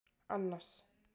Annas